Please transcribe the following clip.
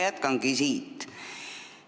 Ma jätkangi siit.